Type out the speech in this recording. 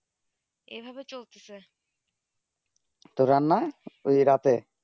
তো রান্না ঐই রাতে